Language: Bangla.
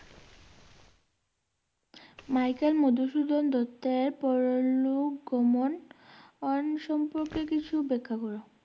মাইকেল মধুসূদন দত্তের পরলোক গমন সম্পর্কে কিছু ব্যাখ্যা করো।